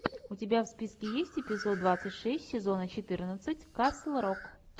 у тебя в списке есть эпизод двадцать шесть сезона четырнадцать касл рок